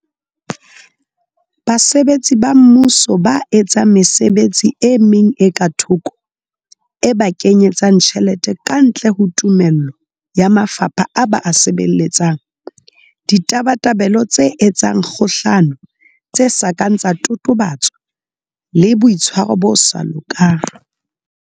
Basebetsi ba Mmuso ba etsang mesebetsi e meng e ka thoko e ba kenye tsang tjhelete kantle ho tumello ya mafapha a ba a sebeletsang. Ditabatabelo tse etsang kgohlano tse sa kang tsa totobatswa le, Boitshwaro bo sa lokang.